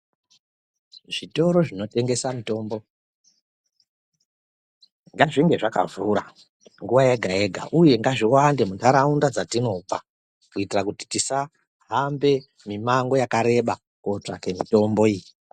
Zvitoro zvinotengesa mitombo ngazvinge zvakavhura nguwa yega yega uye ngazviwande munharaunda dzatinobva kuitira kuti tisahambe mimango yakareba kunotsvake mitombo iyi.